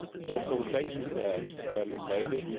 Also thanks to that, Berlin made it